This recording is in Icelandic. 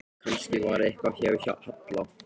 Kannski var eitthvað að hjá Halla.